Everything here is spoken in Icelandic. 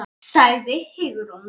sagði Hugrún.